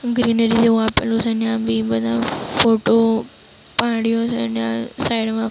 greenery જેવું આપેલું છે અને આ બી બધા ફોટો પાડ્યો છે અને આ સાઈડ માં--